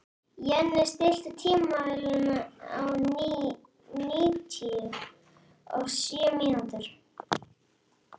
Jenni, stilltu tímamælinn á níutíu og sjö mínútur.